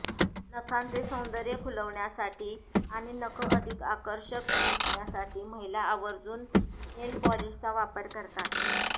नखांचे सौंदर्य खुलवण्यासाठी आणि नखं अधिक आकर्षक दिसण्यासाठी महिला आर्वजून नेलपॉलिशचा वापर करतात